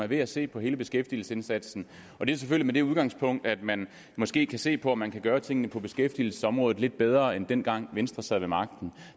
er ved at se på hele beskæftigelsesindsatsen og det er selvfølgelig med det udgangspunkt at man måske kan se på om man kan gøre tingene på beskæftigelsesområdet lidt bedre end dengang da venstre sad ved magten